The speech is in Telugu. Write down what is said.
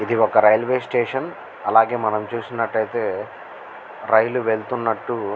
ఇది ఒక రైల్వే స్టేషన్ అలాగే మనం చూసినట్టు అయతె రైలు వేల్లుతునాటు --